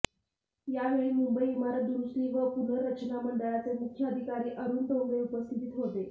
यावेळी मुंबई इमारत दुरुस्ती व पुनर्रचना मंडळाचे मुख्य अधिकारी अरुण डोंगरे उपस्थित होते